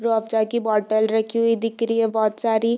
चाय की बोतल रखी हुई दिख रही हैं बोहत सारी --